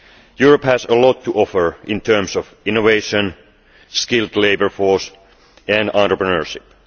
Europe has a lot to offer in terms of innovation, a skilled labour force and entrepreneurship.